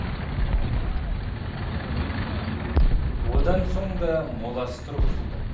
одан соң да моласы тұрғызылды